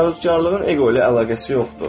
Təvəkküllüğün eqo ilə əlaqəsi yoxdur.